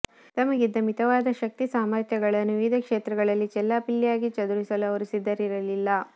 ತಮಗಿದ್ದ ಮಿತವಾದ ಶಕ್ತಿಸಾಮರ್ಥ್ಯಗಳನ್ನು ವಿವಿಧ ಕ್ಷೇತ್ರಗಳಲ್ಲಿ ಚೆಲ್ಲಾಪಿಲ್ಲಿಯಾಗಿ ಚದುರಿಸಲು ಅವರು ಸಿದ್ಧರಲಿಲ್ಲ